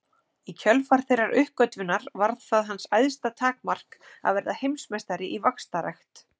Í kjölfar þeirrar uppgötvunar varð það hans æðsta takmark að verða heimsmeistari í vaxtarrækt.